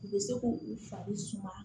U bɛ se k'u fari suma